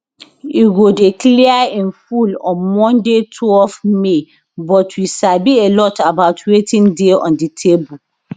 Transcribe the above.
e go dey clear in full on monday twelve may but we sabi a lot about wetin dey on di table